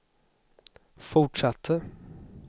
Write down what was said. fortsatte